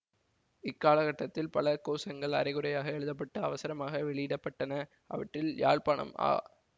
இக்காலகட்டத்தில் பல கோசங்கள் அரைகுறையாக எழுத பட்டு அவசரமாக வெளியிட பட்டன அவற்றில் யாழ்ப்பாணம் ஆ